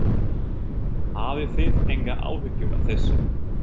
Hafið þið engar áhyggjur af þessu?